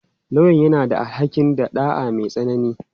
Lauyan yana da alhaƙin ɗa'a mai tsanani.